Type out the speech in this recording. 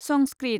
Sanskrit